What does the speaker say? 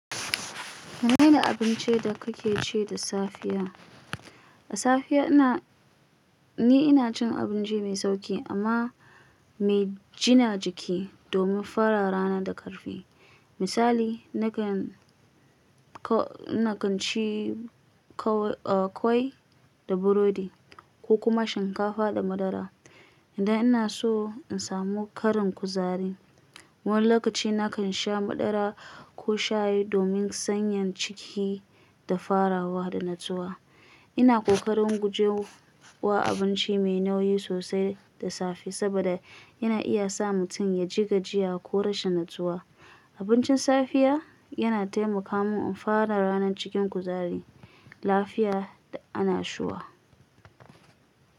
Menene abincin da kake ci da safiya? Da safiya ina, ni ina cin abinci mai sauƙi amma mai jina jiki domin fara rana da ƙarfi. Misali, nakan, na kan ci ƙwai da burodi ko kuma shinkafa da madara. Dan ina so in samu ƙarin kuzari. Wani lokaci na kan sha madara ko shayi domin sanya ciki da farawa da natsuwa. Ina ƙoƙarin guje wa abinci mai nauyi sosai da safe, saboda yana iya sa mutum ya ji gajiya ko rashin natsuwa. Abincin safiya yana taimaka mun in fara ranar cikin kuzari, lafiya da annashuwa.